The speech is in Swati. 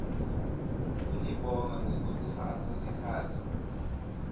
kunibonga ngekutsatsa sikhatsi